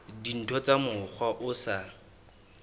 dintho ka mokgwa o sa